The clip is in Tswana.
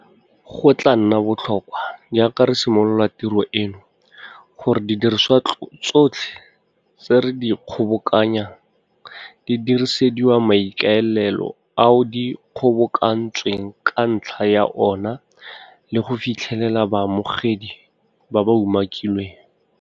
Go tla nna botlhokwa, jaaka re simolola tiro eno, gore didiriswa tsotlhe tse re di kgobokanyang di diresediwa maikaelelo ao di kgobokantsweng ka ntlha ya ona le go fitlhelela baamogedi ba ba umakilweng.